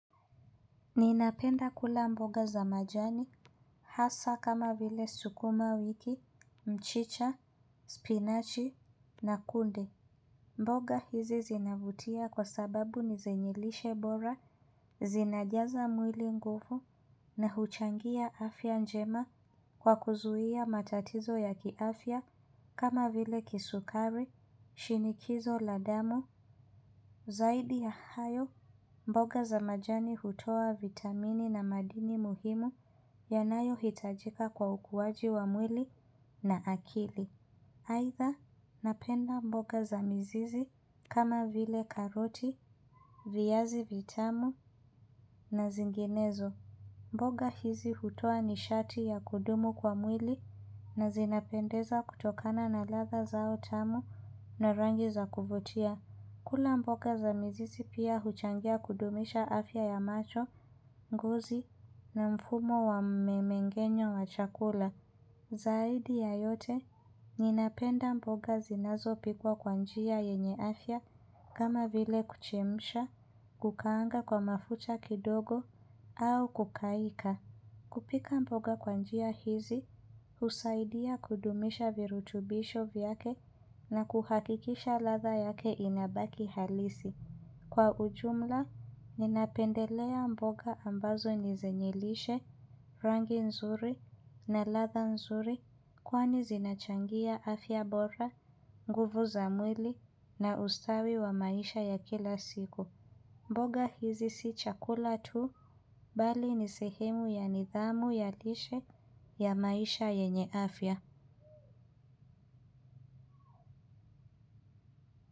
Ninapenda kula mboga za majani hasa kama vile sukuma wiki, mchicha, spinachi na kunde. Mboga hizi zinavutia kwa sababu nizenyelishe bora, zinajaza mwili nguvu na huchangia afya njema kwa kuzuhia matatizo ya kiafya kama vile kisukari, shinikizo, la damu, zaidi na hayo. Mboga za majani hutoa vitamini na madini muhimu yanayo itajika kwa ukuwaji wa mwili na akili. Aidha napenda mboga za mizizi kama vile karoti, vyazi vitamu na zinginezo. Mboga hizi hutoa nishati ya kudumu kwa mwili na zinapendeza kutokana na ladha zao tamu na rangi za kuvutia. Kula mboga za mzizi pia huchangia kudumisha afya ya macho, ngozi na mfumo wa mmengenyo wa chakula. Zaidi ya yote, ninapenda mboga zinazo pikwa kwa njia yenye afya kama vile kuchemsha, kukaanga kwa mafuta kidogo, au kukaika. Kupika mboga kwa njia hizi, husaidia kudumisha virutubisho vyake na kuhakikisha ladha yake inabaki halisi. Kwa ujumla, ninapendelea mboga ambazo nizenye lishe rangi nzuri na ladha nzuri kwani zinachangia afya bora, nguvu za mwili na ustawi wa maisha ya kila siku. Mboga hizi si chakula tu, bali nisehemu ya nidhamu yalishe ya maisha yenye afya.